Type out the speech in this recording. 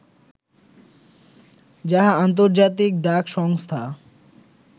যাহা ‘আন্তর্জাতিক ডাক সংস্থা’